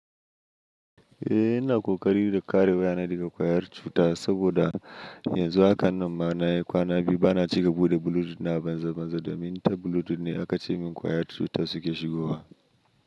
Eh ina ƙoƙari na kare wayana daga ƙwayar cuta saboda yanzu haka nan ma nayi kwana biyu bana cika buɗe Bluetooth na banza banza domin ta Bluetooth ne aka ce min ƙwayar cutar suke shigowa.